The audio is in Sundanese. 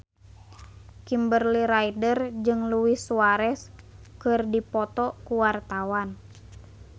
Kimberly Ryder jeung Luis Suarez keur dipoto ku wartawan